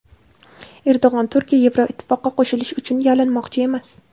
Erdo‘g‘on: Turkiya Yevroittifoqqa qo‘shilish uchun yalinmoqchi emas.